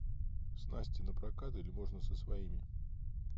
снасти напрокат или можно со своими